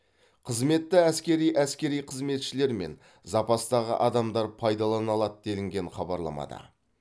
қызметті әскери әскери қызметшілер мен запастағы адамдар пайдалана алады делінген хабарламада